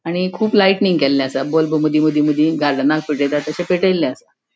आणि खुब लायटइनिंग केल्ले असा बल्ब मदि मदी मदी गार्डेनाक पेटेंता तशे पेटेले असा.